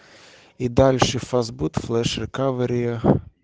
и дальше фастбут флеш рекавери